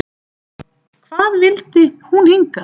Hvað vildi hún hingað?